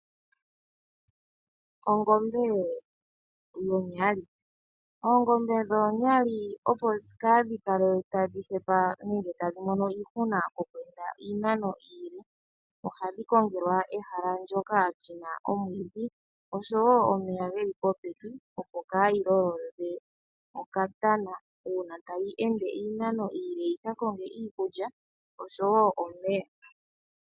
Ongombe yonyali Oongombe dhoonyali opo kaa dhi kale tadhi hepa ngele tadhi mono iihuna oku enda iinano iile, ohadhi kongelwa ehala ndyoka lina omwiidhi osho woo omeya geli popepi opo kaayi lolodhe okatana uuna tayi ende iinano iile yika konge iikulya osho woo omeya .